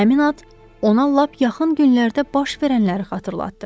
Həmin ad ona lap yaxın günlərdə baş verənləri xatırlatdı.